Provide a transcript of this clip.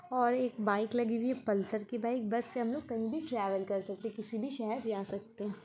और एक बाइक लगी हुई है पल्सर की बाइक । बस से हम लोग कहीं भी ट्रैवल कर सकते हैं। किसी भी शहर जा सकते हैं।